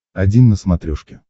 один на смотрешке